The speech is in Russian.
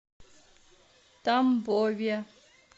тамбове